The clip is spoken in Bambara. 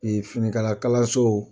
finikala kalaso